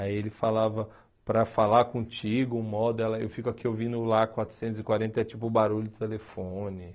Aí ele falava, para falar contigo moda ela, eu fico aqui ouvindo o Lá quatrocentos e quarenta, é tipo o barulho do telefone.